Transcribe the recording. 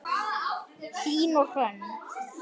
Hlín og Hrönn.